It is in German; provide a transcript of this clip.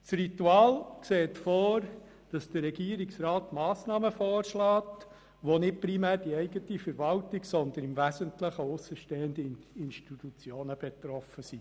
Das Ritual sieht vor, dass der Regierungsrat Massnahmen vorschlägt, von der nicht primär die eigene Verwaltung, sondern im Wesentlichen aussenstehende Institutionen betroffen sind.